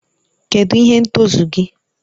Kedụ ihe ntozu gị?